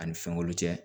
Ani fɛn wɛrɛ tɛ